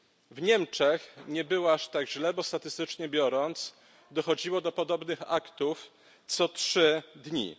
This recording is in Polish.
W Niemczech nie było aż tak źle, bo statystycznie biorąc, dochodziło do podobnych aktów co trzy dni.